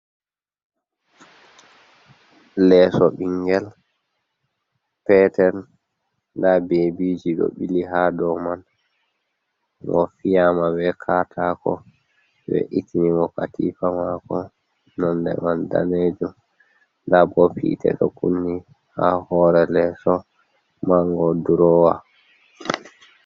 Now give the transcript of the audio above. Leeso ɓingel Petel nda Bebiji ɗo ɓili ha dou man. Ngo fiyama be katako, we'ittinimo katifa mako nonde danejum. nda bob hite ɗo Kunni ha hore leeso Mango Durowa.